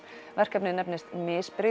verkefnið nefnist